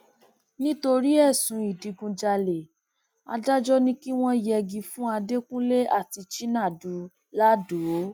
nítorí ẹsùn ìdígunjalè adájọ ni kí wọn yẹgi fún adẹkùnlé àti chinadu lado